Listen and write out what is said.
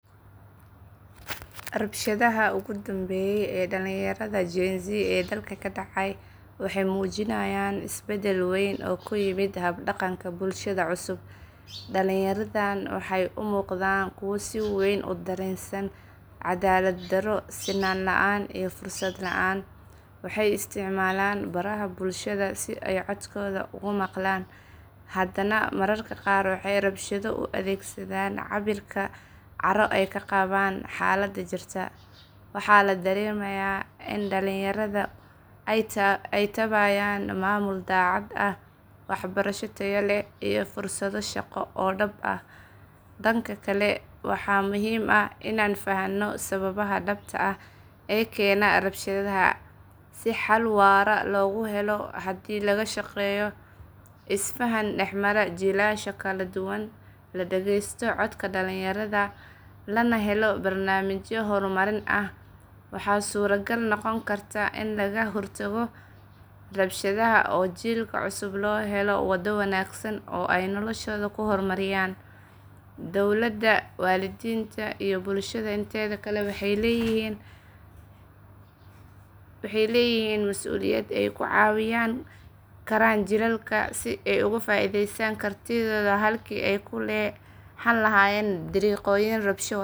Rabshadaha ogudambeye ee dalinyarada gen z ee dalka kadacay waxay mujinayan isbadal weyn oo kayimid habdaganka bulshada cusub, dalinyaradan waxay umugdan kuwa siweyn udarensan cadalad daroo sinan laan iyo fursad laan, waxay isyicmalaan baraha bulshada si ay codkoda ogumaglaan hadana mararka gaar waxay rabshado uadegsadan caburka caroo ay kagabaan hadala jirta, waxa ladaremaya in dainyarada ay tabayaan mamul dacad ah , waxbarashado taya leh iyo fursado shago oo dab ah, dankakale waxa muxiim ah inan fahano sawabaha dabta ah ee kena rabshadaha, si hal wara loguhelo hadhi lagashageyo isfahan dahmara jilasha jaladuwan ladagesto codka dalinyarada lanahelo barnamijyo hormarin ah, waxa sura qaal nogon karta in lagahortago rabshadaha oo jilka cusub lohelo wado wanagsan oo ay noloshoda kuhormariyaan, dowlada walidinta iyo bulshada inteda kale waxay leyixiin masuliyad ay kucawiyaan jilalka si ay ogufaidestaan kartitoda halki ay hallahayen darego tabsho wataan.